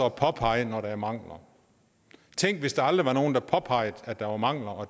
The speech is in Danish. at påpege når der er mangler tænk hvis der aldrig var nogen der påpegede at der var mangler og